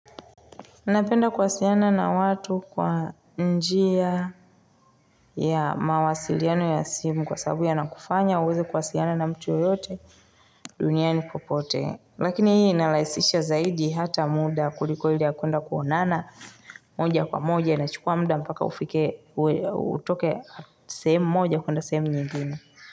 Anapenda kuwasiliana na watu kwa njia ya mawasiliano ya simu kwa sababu ya nakufanya uweze kuwasiliana na mtu yote dunia ni popote. Lakini hii inarahisisha zaidi hata muda kuliko hili ya kuenda kuonana moja kwa moja nachukua muda mpaka ufike utoke sehemu moja kuenda sehemu nyingine.